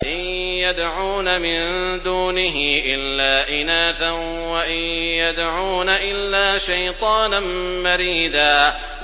إِن يَدْعُونَ مِن دُونِهِ إِلَّا إِنَاثًا وَإِن يَدْعُونَ إِلَّا شَيْطَانًا مَّرِيدًا